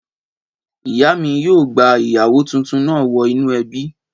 Ìyá mi yóò gba ìyàwó tuntun náà wọ inú ẹbí